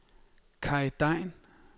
Kaj Degn